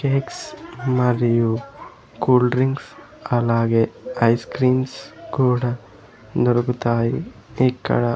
Cakes మరియు cool drinks అలాగే ice creams కూడా దొరుకుతాయి ఇక్కడ.